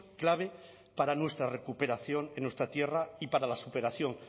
clave para nuestra recuperación en nuestra tierra y para la superación